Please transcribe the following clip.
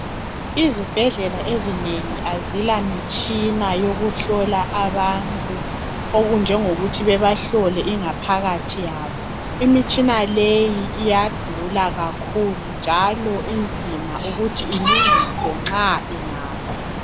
izibhedlela ezinengi azilamitshina yokuhlola abantu okunjengokuthi babahlole ingaphakathi yabo imitshina leyi iyadula kakhulu njalo inzima ukuthi ilungiswe nxa ingafa